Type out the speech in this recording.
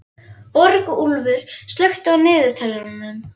Borgúlfur, slökktu á niðurteljaranum.